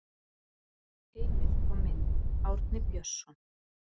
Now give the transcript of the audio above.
Heimild og mynd Árni Björnsson.